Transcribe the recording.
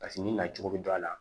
Paseke ni nacogo bɛ don a la